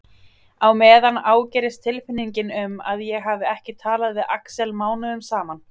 Á meðan ágerist tilfinningin um að ég hafi ekki talað við Axel mánuðum saman.